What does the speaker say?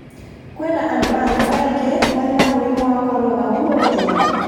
Kwĩ na andũ angĩ aingĩ marĩ na mũrimũ wa corona ũmũthĩ